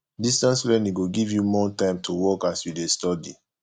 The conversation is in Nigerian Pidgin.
distance learning go give you more time to work as you dey study